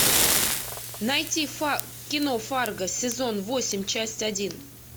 найти кино фарго сезон восемь часть один